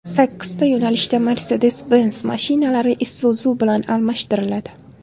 Sakkizta yo‘nalishda Mercedes-Benz mashinalari Isuzu bilan almashtiriladi.